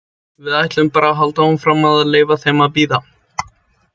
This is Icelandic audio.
Við ætlum bara að halda áfram að leyfa þeim að bíða.